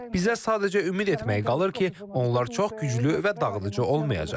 Bizə sadəcə ümid etmək qalır ki, onlar çox güclü və dağıdıcı olmayacaq.